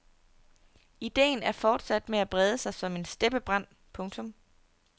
Ideen er fortsat med at brede sig som en steppebrand. punktum